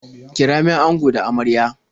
Kira min ango da amarya.